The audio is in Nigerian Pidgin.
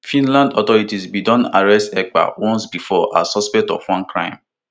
finland authorities bin don first arrest ekpa once bifor as suspect of one crime